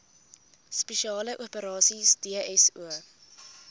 spesiale operasies dso